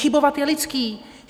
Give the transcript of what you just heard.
Chybovat je lidské.